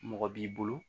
Mɔgɔ b'i bolo